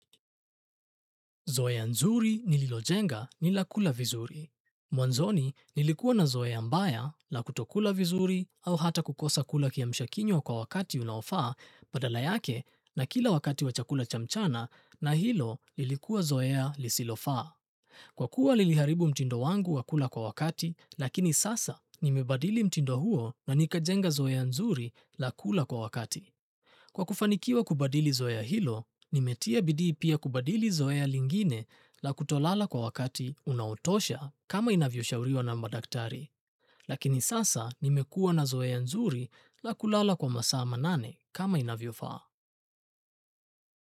Zoea nzuri nililojenga ni la kula vizuri. Mwanzoni nilikuwa na zoea mbaya la kutokula vizuri au hata kukosa kula kiamshakinywa kwa wakati unaofaa badala yake na kila wakati wa chakula cha mchana na hilo lilikuwa zoea lisilofaa. Kwa kuwa liliharibu mtindo wangu wa kula kwa wakati lakini sasa nimebadili mtindo huo na nikajenga zoea nzuri la kula kwa wakati. Kwa kufanikiwa kubadili zoea hilo, nimetia bidii pia kubadili zoea lingine la kutolala kwa wakati unaotosha kama inavyoshauriwa na madaktari. Lakini sasa nimekuwa na zoea nzuri la kulala kwa masaa manane kama inavyofaa.